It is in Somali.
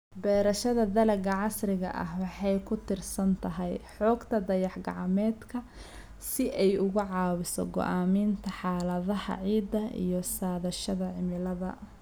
Beerashada dalagga casriga ah waxay ku tiirsan tahay xogta dayax-gacmeedka si ay uga caawiso go'aaminta xaaladaha ciidda iyo saadaasha cimilada.